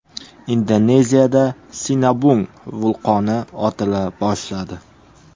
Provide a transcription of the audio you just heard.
Indoneziyada Sinabung vulqoni otila boshladi.